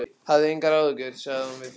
Hafðu engar áhyggjur, sagði hún við Finn.